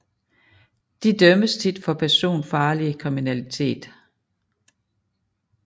De dømmes tit for personfarlig kriminalitet